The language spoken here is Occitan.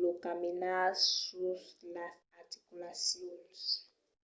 lo caminar sus las articulacions